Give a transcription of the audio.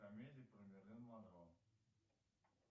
комедии про мерлин монро